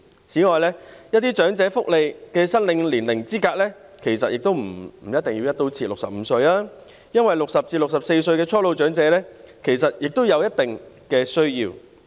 此外，一些申領長者福利的合資格年齡，其實也不必"一刀切"定為65歲，因為60歲至64歲的初老長者其實也有一定的需要。